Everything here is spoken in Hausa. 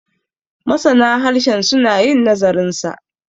masana harshen suna yin nazarinsa